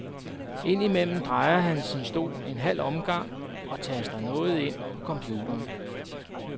Ind imellem drejer han sin stol en halv omgang og taster noget ind på computeren.